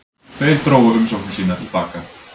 Tveir drógu umsóknir sínar til baka